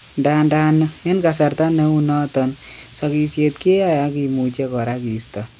Ndadan en kasarta neu naton, sakisiet kiyae ak kimuche kora kisto